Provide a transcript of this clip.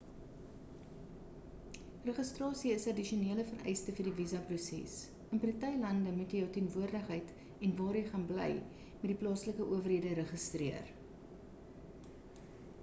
registrasie is 'n addisionele vereiste vir die visa proses in party lande moet jy jou teenwoordigheid en waar jy gaan bly met die plaaslike owerhede registreer